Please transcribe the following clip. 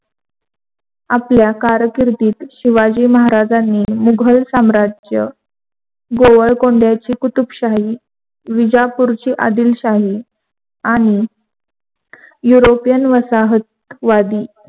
आपल्या कारकिर्दीत शिवाजी महाराजांनी मुधल साम्राज्य गोवळकोंध्याची कुतुबशाही विजापूरची आदिलशाही आणि युरोपियन वसाहतीवादी